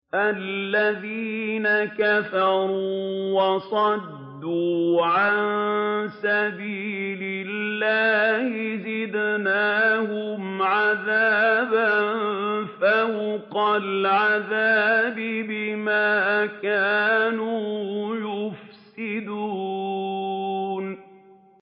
الَّذِينَ كَفَرُوا وَصَدُّوا عَن سَبِيلِ اللَّهِ زِدْنَاهُمْ عَذَابًا فَوْقَ الْعَذَابِ بِمَا كَانُوا يُفْسِدُونَ